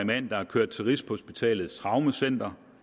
mand er kørt til rigshospitalets traumecenter